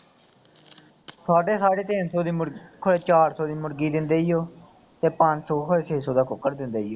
ਸਾਢੇ ਸਾਢੇ ਤਿੰਨ ਸੌ ਦੀ ਮੁਰਗੀ। ਕਦੇ ਚਾਰ ਸੌ ਦੀ ਮੁਰਗੀ ਦਿੰਦੇ ਸੀ ਉਹ ਤੇ ਪੰਜ ਸੌ ਕਦੇ ਛੇ ਸੌ ਦਾ ਕੁੱਕੜ ਦਿੰਦੇ ਸੀ ਉਹ